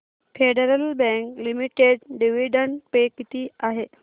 federal Bank Limited dividend pay किती आहे